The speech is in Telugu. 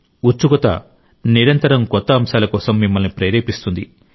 ఉత్సుకత నిరంతరం కొత్త అంశాల కోసం మిమ్మల్ని ప్రేరేపిస్తుంది